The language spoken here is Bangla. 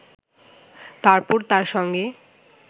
তারপর তার সঙ্গে